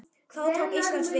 Þá tók Ísland við sér.